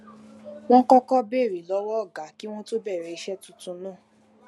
wón kókó béèrè lówó ọga kí wón tó bèrè iṣé tuntun náà